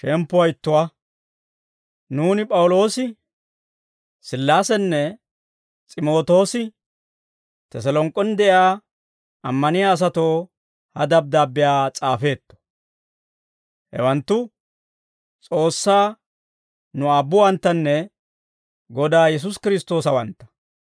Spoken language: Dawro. Nuuni P'awuloosi, Sillaasenne S'imootoosi, Teselonk'k'en de'iyaa ammaniyaa asatoo ha dabddaabbiyaa s'aafeetto. Hewanttu S'oossaa nu Aabbuwanttanne Godaa Yesuusi Kiristtoosawantta.